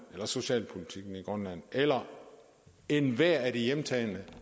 og socialpolitikken i grønland eller ethvert af de hjemtagne